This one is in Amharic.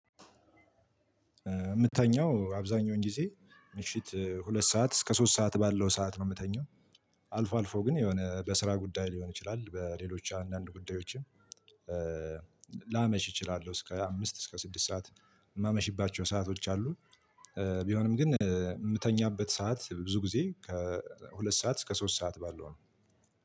የምተኛው አብዛኛውን ጊዜ ምሽት ሁለት ሰዓት እስከ ሶስት ሰዓት ባለው ሰዓት ነው የምተኛው። አልፎ አልፎ ግን የሆነ በስራ ጉዳይ ሊሆን ይችላል በሌሎች አንዳንድ ጉዳዮችም። ላመሽ እችላለሁ እስከ አምስት እስከ ስድስት ሰዓት የማመሽባቸው ሰአቶች አሉ። ቢሆንም ግን የምተኛበት ሰዓት ብዙ ጊዜ ከሁለት ሰዓት እስከ ሶስት ሰዓት ባለው ነው።